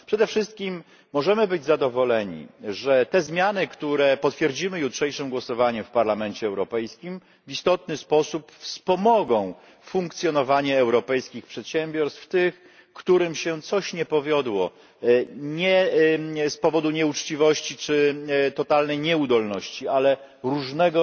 Przede wszystkim możemy być zadowoleni, że te zmiany, które potwierdzimy jutrzejszym głosowaniem w Parlamencie Europejskim w istotny sposób wspomogą funkcjonowanie europejskich przedsiębiorstw, tych, którym się coś nie powiodło nie z powodu nieuczciwości czy totalnej nieudolności, ale różnego